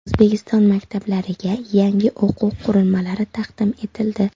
O‘zbekiston maktablariga yangi o‘quv qurilmalari taqdim etildi.